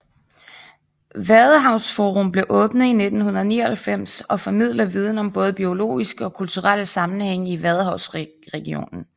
Vadehavsforum blev åbnet i 1999 og formidler viden om både biologiske og kulturelle sammenhænge i vadehavsregionen